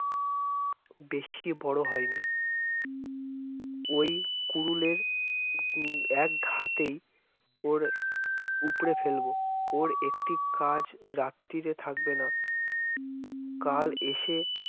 বেশি বড় হয়নি ওই কুড়ুলের উম একঘাতেই ওর উপরে ফেলব। ওর একটি গাছ রাত্তিরে থাকবে না কাল এসে কি